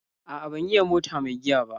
A'a ban iya mota mai giya ba.